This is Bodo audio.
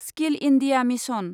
skill India mission